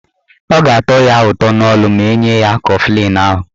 Ọ ga-atọ ya ụtọ n'ọnụ ma enye ya kọflịn ahụ.